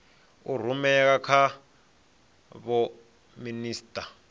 a rumela kha vho minisita